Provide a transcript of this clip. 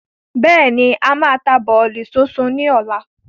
Bẹ́ẹ̀ni, a máa ta bọ̀lì súnsun ni ọ̀la.